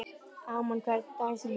Amon, hver er dagsetningin í dag?